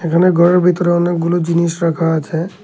এখানে ঘরের ভিতরে অনেকগুলো জিনিস রাখা আছে।